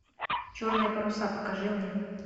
черные паруса покажи мне